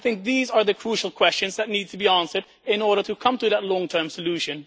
I think these are the crucial questions that need to be answered in order to come to that long term solution.